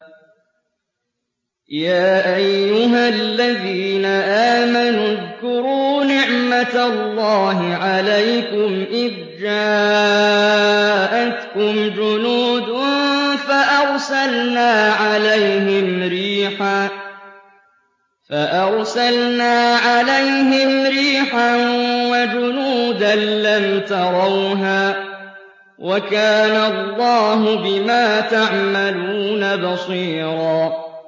يَا أَيُّهَا الَّذِينَ آمَنُوا اذْكُرُوا نِعْمَةَ اللَّهِ عَلَيْكُمْ إِذْ جَاءَتْكُمْ جُنُودٌ فَأَرْسَلْنَا عَلَيْهِمْ رِيحًا وَجُنُودًا لَّمْ تَرَوْهَا ۚ وَكَانَ اللَّهُ بِمَا تَعْمَلُونَ بَصِيرًا